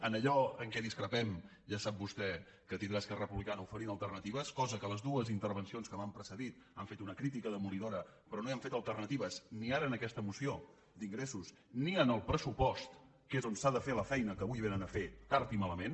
en allò en què discrepem ja sap vostè que tindrà esquerra republicana oferint alternatives cosa que les dues intervencions que m’han precedit han fet una crítica demolidora però no hi han fet alternatives ni ara en aquesta moció d’ingressos ni en el pressupost que és on s’ha de fer la feina que avui vénen a fer tard i malament